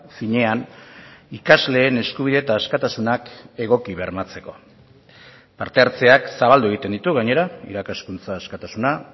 finean ikasleen eskubide eta askatasunak egoki bermatzeko parte hartzeak zabaldu egiten ditu gainera irakaskuntza askatasuna